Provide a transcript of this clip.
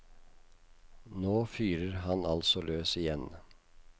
Nå fyrer han altså løs igjen.